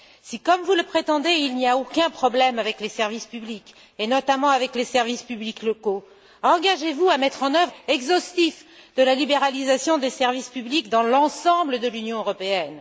Si, comme vous le prétendez, il n'y a aucun problème avec les services publics, et notamment avec les services publics locaux, engagez vous à mettre en œuvre un bilan réel, exhaustif de la libéralisation des services publics dans l'ensemble de l'Union européenne.